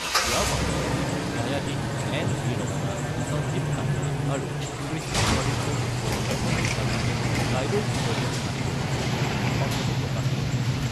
ইয়াৰ পাছতে ন্যায়াধীশ এন ভি ৰমনা, সঞ্জীৱ খান্না আৰু কৃষ্ণা মুৰাৰীক লৈ গঠিত এখন বিচাৰপীঠে কাইলৈ গোচৰটোৰ শুনানী গ্ৰহণ কৰিবলৈ সন্মতি প্ৰকাশ কৰে।